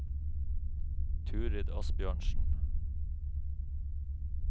Turid Asbjørnsen